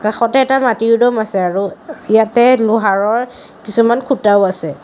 কাষতে এটা মাটিৰ দম আছে আৰু ইয়াতে লোহাৰৰ কিছুমান খুঁটাও আছে।